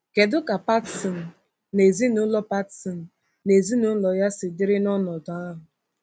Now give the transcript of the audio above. Kedu ka Patson na ezinụlọ Patson na ezinụlọ ya si dịrị n’ọnọdụ ahụ?